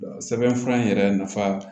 Sɛbɛn fura in yɛrɛ nafa